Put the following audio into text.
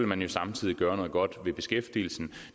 man jo samtidig gøre noget godt ved beskæftigelsen